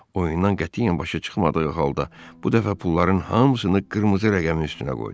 Oyundan qətiyyən başı çıxmadığı halda bu dəfə pulların hamısını qırmızı rəqəmin üstünə qoydu.